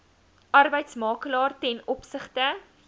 arbeidsmakelaar ten opsigte